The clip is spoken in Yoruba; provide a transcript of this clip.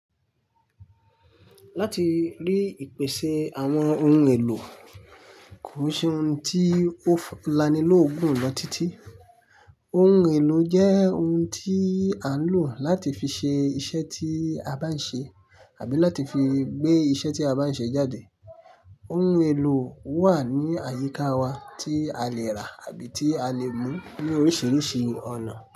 Láti rí ìpèsè àwọn ohun èlò koò ṣe ohun tí ó lanilóògùn lọ títí. Ohun èlò jẹ́ ohun tí a ń lò láti fi ṣe iṣẹ́ tí a bá ń ṣe àbí láti fi gbé iṣẹ́ tí a bá ń ṣe jáde. Ohun èlò wà ní àyíká wa tí a lè rà àbí tí a lè mú ní oríṣiríṣi ọ̀nà.